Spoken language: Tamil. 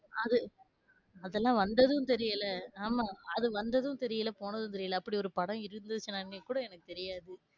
அது அதெல்லாம் வந்ததும் தெரியல ஆமா அது வந்ததும் தெரியல, போனதும் தெரியல அப்டி ஒரு படம் இருந்துச்சுனானே எனக்கு தெரியாது,